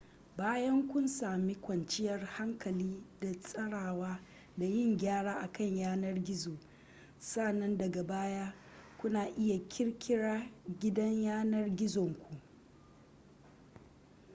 bayan kun sami kwanciyar hankali da tsarawa da yin gyara akan yanar gizo sannan daga baya kuna iya ƙirƙirar gidan yanar gizonku